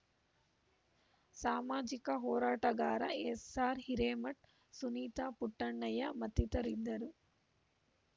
ಸಾಮಾಜಿಕ ಹೋರಾಟಗಾರ ಎಸ್‌ಆರ್‌ಹಿರೇಮಠ್‌ ಸುನೀತಾ ಪುಟ್ಟಣ್ಣಯ್ಯ ಮತ್ತಿತರರಿದ್ದರು